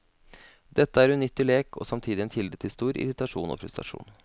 Dette er unyttig lek, og samtidig en kilde til stor irritasjon og frustrasjon.